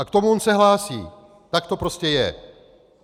A k tomu on se hlásí, tak to prostě je.